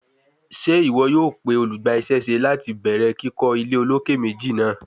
Ṣe iwọ yoo pe olugbaisese lati bẹrẹ kikọ ile oloke meji naa?